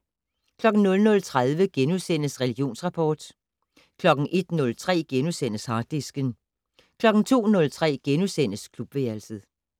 00:30: Religionsrapport * 01:03: Harddisken * 02:03: Klubværelset *